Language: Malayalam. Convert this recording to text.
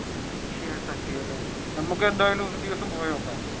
ശിവശക്തിയല്ലേ നമ്മുക്ക് എന്തായാലും ഒരുദിവസം പോയി നോക്കാം.